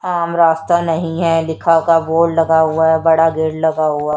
आम रास्ता नहीं है लिखाफा बोर्ड लगा हुआ है बड़ा गेट लगा हुआ।